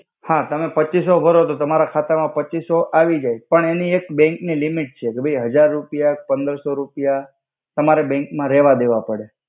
હા તમે પચિસો ભરો તો તમારા ખાતા મા પચિસો આવિજાઇ પણ એનિ એક બેંક નિ લિમિટ છે કે ભઈ હજાર રુપિયા પંદર્સો રુપિયા તમારે બેક મા રેવા દેવા પડે.